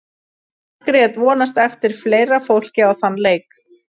Margrét vonast eftir fleira fólki á þann leik.